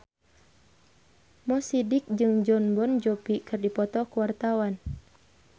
Mo Sidik jeung Jon Bon Jovi keur dipoto ku wartawan